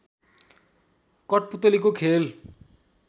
कठपु‍तलीको खेल